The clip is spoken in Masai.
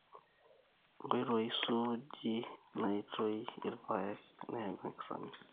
Enkoitoi suuji naitoi irr`paek nayau enkisamis .